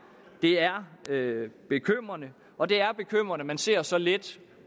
er det er bekymrende og det er bekymrende at man ser så let